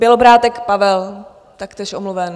Bělobrádek Pavel: Taktéž omluven.